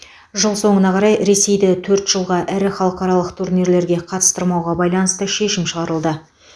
жыл соңына қарай ресейді төрт жылға ірі халықаралық турнирлерге қатыстырмауға байланысты шешім шығарылды